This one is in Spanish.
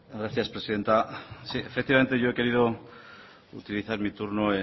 gracias presidenta sí efectivamente yo he querido utilizar mi turno